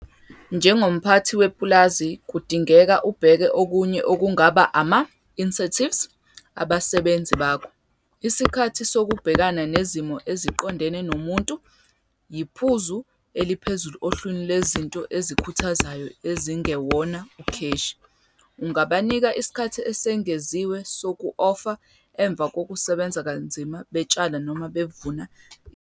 Njengomphathi wepulazi kudingeka ubheke okunye okungaba ama-incentives abasebenzi bakho. Isikhathi sokubhekana nezimo eziqondene nomuntu yiphuzu eliphezulu ohlwini lwezinto ezikhuthazayo ezingewona ukheshi. Ungabanika isikhathi esengeziwe soku-ofa emva kokusebenza kanzima betshala noma bevuna izilimo?